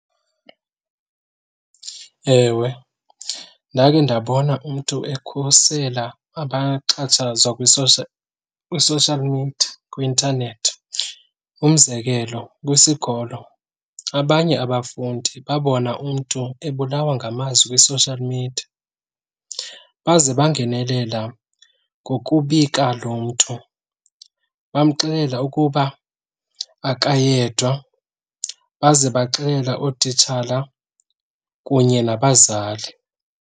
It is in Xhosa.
Ewe, ndakhe ndabona umntu ekhusela abaxhatshazwa kwi-social media kwi-intanethi. Umzekelo, kwisikolo abanye abafundi babona umntu ebulawa ngamazwi kwi-social media baze bangenelela ngokubika lo mntu, bamxelele ukuba akayedwa baze baxelela ootitshala kunye nabazali.